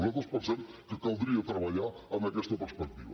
nosaltres pensem que caldria treballar en aquesta perspectiva